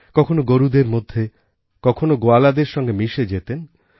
কখনও গোরুদের মধ্যে কখনও গোয়ালাদের সঙ্গে মিশে যেতেন